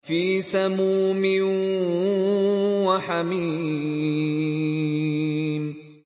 فِي سَمُومٍ وَحَمِيمٍ